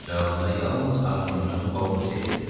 Cavabında yalnız harpunçunun xorultusu eşidildi.